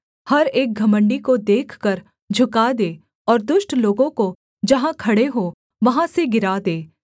हर एक घमण्डी को देखकर झुका दे और दुष्ट लोगों को जहाँ खड़े हों वहाँ से गिरा दे